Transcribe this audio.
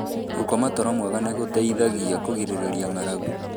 Gũkoma toro mwega nĩ gũgũteithagia kũgirĩrĩria ng'aragu.